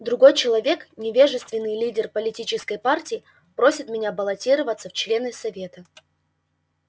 другой человек невежественный лидер политической партии просит меня баллотироваться в члены совета